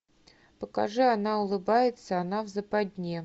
покажи она улыбается она в западне